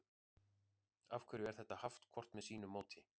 af hverju er þetta haft hvort með sínu móti